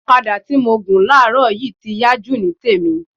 Ọ̀kadà tí mo gùn láàrọ̀ yìí ti yá jù ní tèmi